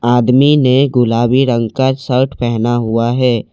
आदमी ने गुलाबी रंग का शर्ट पहेना हुआ है।